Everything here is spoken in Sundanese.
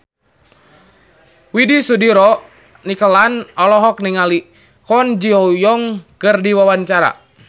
Widy Soediro Nichlany olohok ningali Kwon Ji Yong keur diwawancara